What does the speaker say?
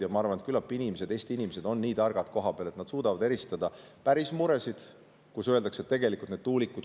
Ja ma arvan, et küllap Eesti inimesed kohapeal on nii targad, et nad suudavad eristada päris muresid.